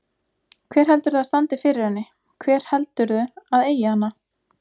Hver heldurðu að standi fyrir henni, hver held- urðu að eigi hana?